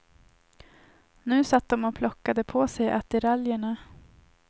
Nu satt de och plockade på sig attiraljerna.